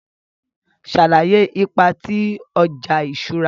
Sàlàyé ipa ti ọja iṣura.